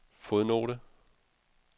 fodnote